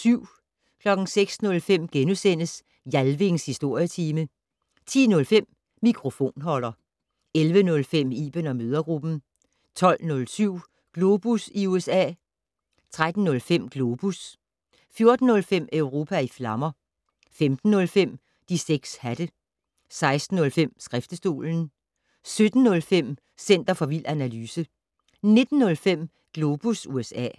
06:05: Jalvings Historietime * 10:05: Mikrofonholder 11:05: Iben & mødregruppen 12:07: Globus i USA 13:05: Globus 14:05: Europa i flammer 15:05: De 6 hatte 16:05: Skriftestolen 17:05: Center for vild analyse 19:05: Globus USA